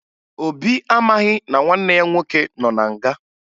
Obi amaghị na nwanne ya nwoke nọ na nga